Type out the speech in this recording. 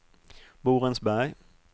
Borensberg